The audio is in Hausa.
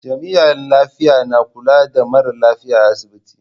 Jami'an lafiya na kula da mara lafiya a asibiti.